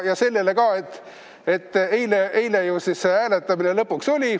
Ja sellele ka, et eile ju see hääletamine lõpuks oli.